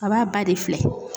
A b'a ba de filɛ.